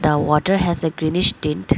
a water has a greenish tint.